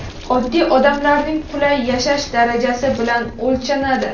oddiy odamlarning qulay yashash darajasi bilan o‘lchanadi.